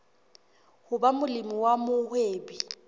ho ba molemi wa mohwebi